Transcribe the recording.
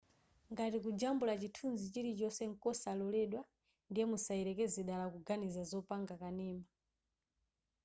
ngati kujambula chithunzi chilichonse nkosaloledwa ndiye musayelekeze dala kuganiza zopanga kanema